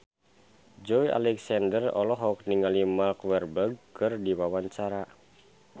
Joey Alexander olohok ningali Mark Walberg keur diwawancara